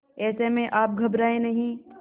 ऐसे में आप घबराएं नहीं